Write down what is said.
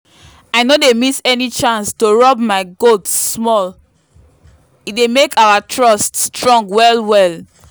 i no dey miss any chance to rub my goats small e dey make our trust strong well well.